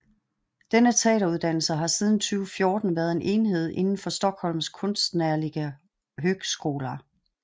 Denne teateruddannelse har siden 2014 været en enhed indenfor Stockholms konstnärliga högskola